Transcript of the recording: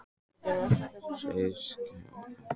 Hreppstjórar hljóta þó að kunna mannasiði.